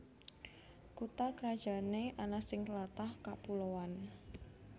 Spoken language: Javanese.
Kutha krajané ana sing tlatah kapuloan